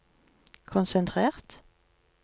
konsentrert